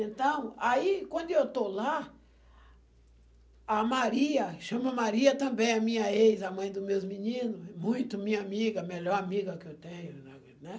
Então, aí, quando eu estou lá, a Maria, chama Maria também, a minha ex, a mãe dos meus meninos, muito minha amiga, a melhor amiga que eu tenho, na vida, né?